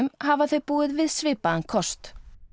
hafa þau búið við svipaðan kost